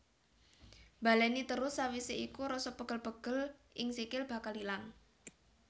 Baléni terus sawisé iku rasa pegel pegel ing sikil bakal ilang